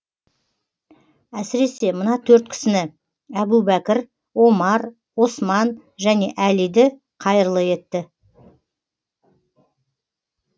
әсіресе мына төрт кісіні әбу бәкір омар осман және әлиді қайырлы етті